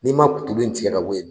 N'i ma kutubu in tigɛ ka bɔ yen nɔ